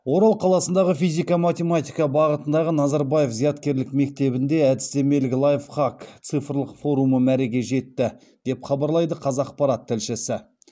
орал қаласындағы физика математика бағытындағы назарбаев зияткерлік мектебінде әдістемелік лайфхак цифрлық форумы мәреге жетті деп хабарлайды қазақпарат тілшісі